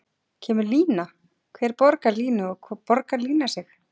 Kemur lína, hver borgar línu og borgar lína sig?